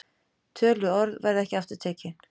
Töluð orð verða ekki aftur tekin.